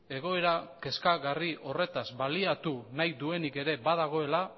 egoera kezkagarri horretaz baliatu nahi duenik ere badagoela